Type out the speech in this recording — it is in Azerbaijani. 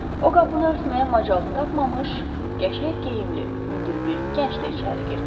O qapını örtməyə macal tapmamış, qəşəng geyimli, hündür bir gənc də içəri girdi.